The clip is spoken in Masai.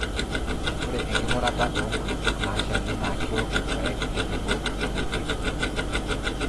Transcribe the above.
ore enking'urata oo nkulupuok naashalli naa keok irpaek tenebo emoidiei